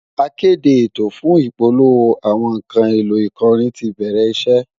Akéde ètò fún ìpolówó àwọn nǹkan èlò ìkọrin ti bẹ̀rẹ̀ iṣẹ́